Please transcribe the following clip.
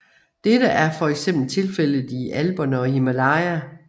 Dette er fx tilfældet i Alperne og Himalaya